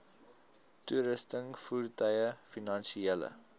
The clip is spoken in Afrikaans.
toerusting voertuie finansiële